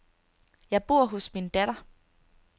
Jeg bor hos min datter.